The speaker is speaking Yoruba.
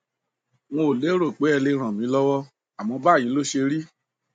n ò lérò pé ẹ lè ràn mí lọwọ àmọ báyìí ló ṣérí